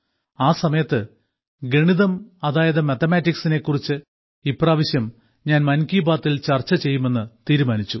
ആസമയത്ത് ഗണിതം അതായത് മാത്തമറ്റിക്സിനെ കുറിച്ച് ഇപ്രാവശ്യം ഞാൻ മൻ കി ബാത്തിൽ ചർച്ച ചെയ്യുമെന്ന് തീരുമാനിച്ചിരുന്നു